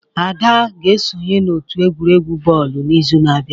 Ada ga-esonye n'otu egwuregwu bọọlụ n'izu na-abịa